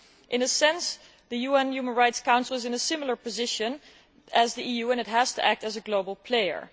In a sense, the UN Human Rights Council is in a similar position to the EU and it has to act as a global player.